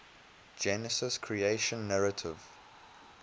genesis creation narrative